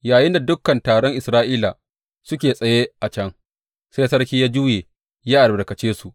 Yayinda dukan taron Isra’ila suke tsaye a can, sai sarki ya juya ya albarkace su.